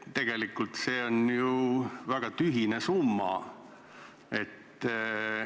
Tegelikult on see väga tühine summa.